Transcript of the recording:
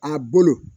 A bolo